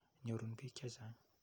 Nyorun piik che chang'.